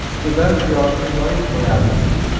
Ustidan piyozni yoyib qo‘yamiz.